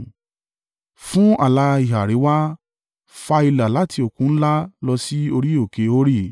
Fún ààlà ìhà àríwá, fa ìlà láti Òkun Ńlá lọ sí orí òkè Hori,